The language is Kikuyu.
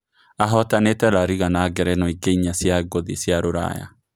Ahootanĩte La Riga na ngerenwa ingĩ inya cia ngũthi cia Ruraya.